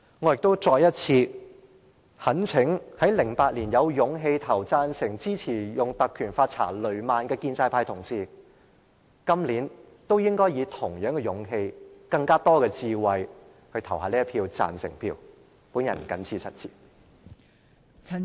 我亦再次懇請在2008年有勇氣投贊成票，支持以《立法會條例》調查雷曼事件的建制派同事，今年也以同樣勇氣及更多的智慧，投下贊成的一票。